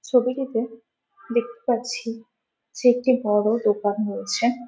ছবিটিতে দেখতে পাচ্ছি সে একটি বড় দোকান হয়েছে --